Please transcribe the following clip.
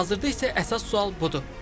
Hazırda isə əsas sual budur: